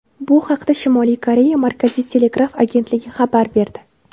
Bu haqda Shimoliy Koreya Markaziy telegraf agentligi xabar berdi .